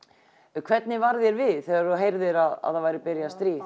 hvernig varð þér við þegar þú heyrðir að það væri byrjað stríð